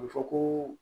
A bɛ fɔ ko